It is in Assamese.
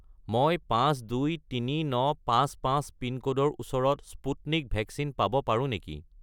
মই 523955 পিনক'ডৰ ওচৰত স্পুটনিক ভেকচিন পাব পাৰোঁ নেকি?